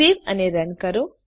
સેવ અને રન કરો